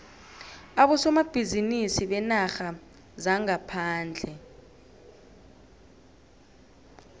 abosomabhizinisi beenarha zangaphandle